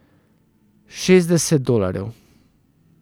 Šestdeset dolarjev.